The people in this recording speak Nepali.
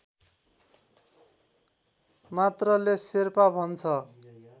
मात्रले शेर्पा भन्छ